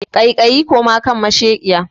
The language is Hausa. Kaikayi koma kan mashekiya!